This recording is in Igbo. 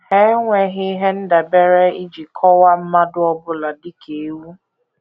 Ha enweghị ihe ndabere iji kọwaa mmadụ ọ bụla dị ka ewu.